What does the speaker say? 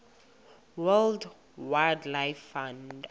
world wildlife fund